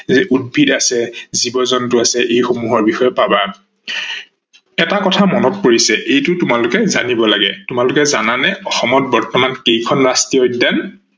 উদ্ভিদ আছে, জীৱ-জন্তু আছে এইসমূহৰ বিষয়ে পাবা ।এটা কথা মনত পৰিছে এইটো তোমালোকে জানিব লাগে, তোমালোকে জানানে অসমত বৰ্তমান কেইখন ৰাষ্ট্ৰীয় উদ্যান